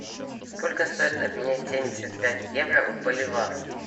сколько стоит обменять семьдесят пять евро в боливар